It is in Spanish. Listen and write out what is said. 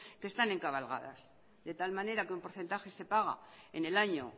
que están encabalgadas de tal manera que un porcentaje se paga en el año